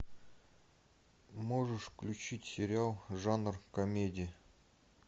можешь включить сериал жанр комедия